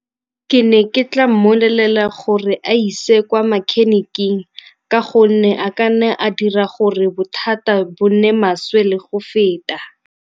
Ke ne ke tla mmolelela gore a ise kwa mechanic-keng ka gonne a ka nne a dira gore bothata bo nne maswe le go feta.